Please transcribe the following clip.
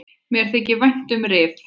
Mér þykir vænt um Rif.